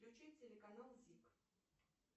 включить телеканал зик